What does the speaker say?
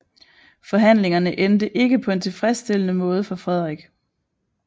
Forhandlingerne endte ikke på en tilfredsstillende måde for Frederik